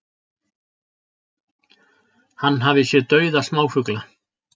Hann hafi séð dauða smáfugla